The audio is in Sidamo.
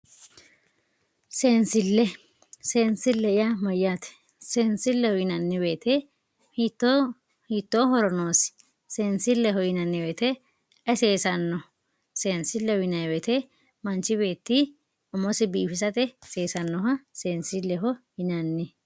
seensille. seensille yaa mayyaate seensilleho yinanni woyiite hiittooho hiittoo horo noosi seensilleho yinanni woyiite ayi seesanno seensilleho yinanni woyiite manchi beetti umosi biifisate seesannoha seensilleho yinanni